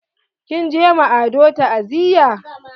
Kin je ma Ado ta'aziya?